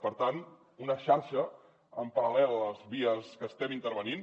per tant una xarxa en parallel a les vies que estem intervenint